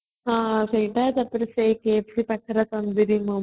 ହଁ ସେଇଟା ତାପରେ cafes ପାଖରେ ତନ୍ଦୁରୀ momo